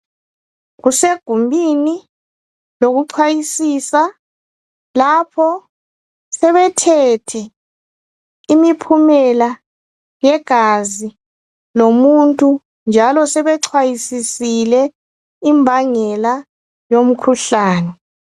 Kusegumbini lokuxhwayisisa. Lapho sebethethe imiphumela yegazi lomuntu. Njalo sebexhwayisisile imbangela yomkhuhlane.